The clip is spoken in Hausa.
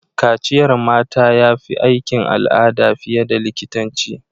Kaciyar mata ya fi aikin al'ada fiye da likitanci